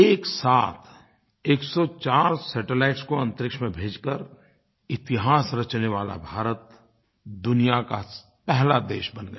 एकसाथ 104 सैटेलाइट्स को अन्तरिक्ष में भेजकर इतिहास रचने वाला भारत दुनिया का पहला देश बन गया